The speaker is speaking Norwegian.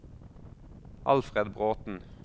Alfred Bråten